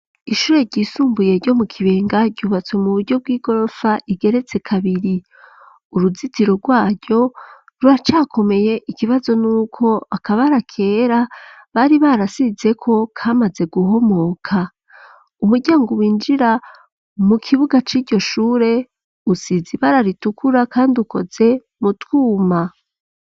ishure ryisumbuye ryo mu kibenga ryubatswe mu buryo bw'igorofa igeretse kabiri .uruzitiro rwaRyo rura cakomeye ikibazo n'uko akaba arakera bari barasize ko kamaze guhomoka. Umuryango winjira mu kibuga c'iryoshure usizi bararitukura kandi ukoze mu twuma.